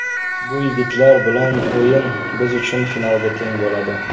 Bu yigitlar bilan o‘yin biz uchun finalga teng bo‘ladi.